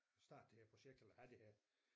Starte det her projekt eller have det her